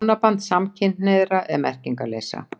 Hjónaband samkynhneigðra er merkingarleysa.